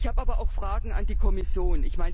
Ich habe aber auch Fragen an die Kommission.